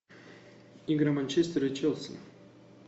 игры манчестер и челси